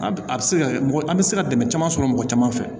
A a bɛ se ka mɔgɔ an bɛ se ka dɛmɛ caman sɔrɔ mɔgɔ caman fɛ